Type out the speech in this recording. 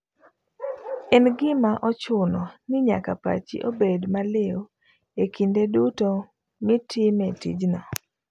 En gima ochuno ninyaka pachi obed maliw ekinde duto mitime tijno.